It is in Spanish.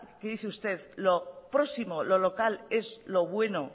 que dice usted lo próximo o lo local es lo bueno